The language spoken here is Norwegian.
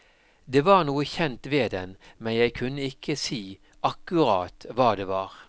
Det var noe kjent ved den, men jeg kunne ikke si akkurat hva det var.